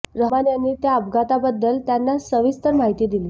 रहमान यांनी त्या अपघाताबद्दल त्यांना सविस्तर माहिती दिली